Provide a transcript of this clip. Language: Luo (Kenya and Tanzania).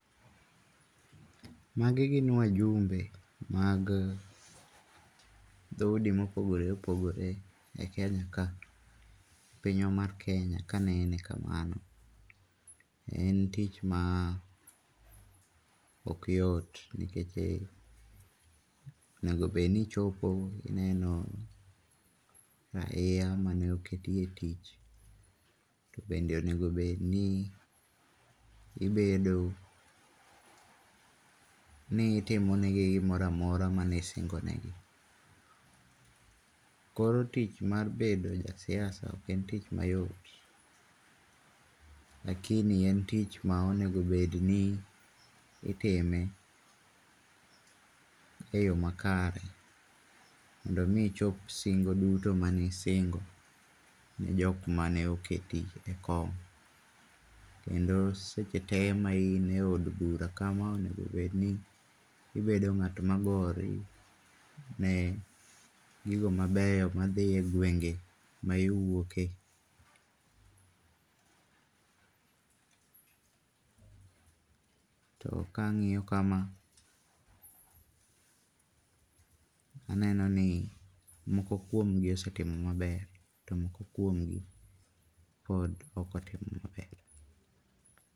Magi gin wajumbe mag dho udi mopogore opogore e Kenya ka. Pinywa mar Kenya ka anene kamano. En tich ma ok yot nikech onego bedni ichopo ineno raia mane oketi etich. To bende onego bedni ibedo ni itimo negi gimoro amora mane isingonegi. Koro tich mar bedo ja siasa ok en tich mayot. lakini en tich ma onego bedni itime eyoo makare mondo mi ichop singo duto mane isingo ne jok mane oketi ekom. Kendo seche tee ma ine ood bura kama onego bedni ibedo ng'at ma gore ne gigo mabeyo madhi egwenge ma iwuoke. To ka ang'iyo kama, aneno ni moko kuomgi osetimo maber to moko kuomgi pod ok otimo maber.